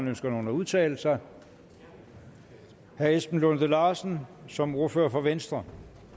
ønsker nogen at udtale sig herre esben lunde larsen som ordfører for venstre